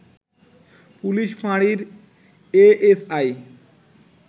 police ফাঁড়ির ASI